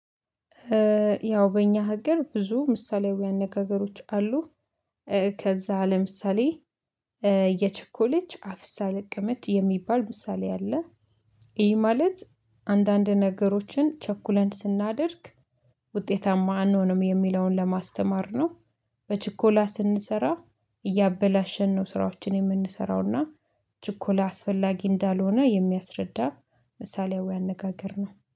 ያው በእኛ ሀገር ብዙ ምሳሌአዊ አነጋገሮች አሉ። ከዛ ለምሳሌ የቸኮለች አፍሳ ለቀመች የሚባል ምሳሌ አለ። ይህ ማለት አንዳንድ ነገሮችን ቸኩለን ስናደርግ ውጤታማ አንሆንም የሚለውን ለማስተማር ነው። በችኮላ ስንሰራ እያበላሸን ነው ስራዎችን የምንሰራውና ችኮላ አስፈላጊ እንዳልሆነ የሚያስረዳ ምሳሌያዊ አነጋገር ነው